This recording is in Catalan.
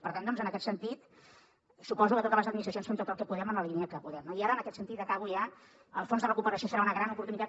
per tant doncs en aquest sentit suposo que totes les administracions fem tot el que podem en la línia que podem no i ara en aquest sentit i acabo ja el fons de recuperació serà una gran oportunitat